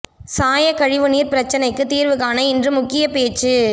சாயக் கழிவு நீர்ப் பிரச்சினைக்கு தீர்வு காண இன்று முக்கியப் பேச்சு